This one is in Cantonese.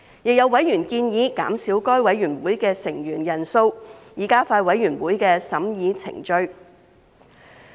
亦有委員建議減少該委員會的成員人數，以加快委員會的審議程序。